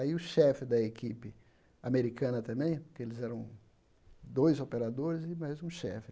Aí o chefe da equipe americana também, porque eles eram dois operadores e mais um chefe.